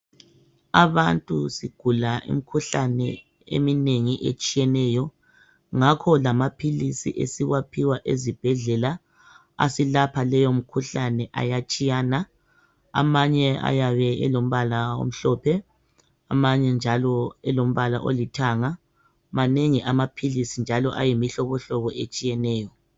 Abantu sigula imikhuhlane eminengi etshiyeneyo ngakho lamaphilisi esiwaphiwa ezibhedlela asilapha leyomkhuhlane ayatshiyana , amanye ayabe elombala omhlophe , amanye njalo elombala olithanga manengi amaphilisi njalo ayimihlobohlobo etshiyeneyo